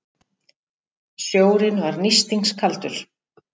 Sjórinn var nístingskaldur.